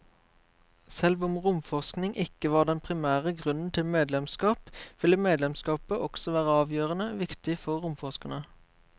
Selv om romforskning ikke var den primære grunnen til medlemskap, ville medlemskapet også være avgjørende viktig for romforskerne.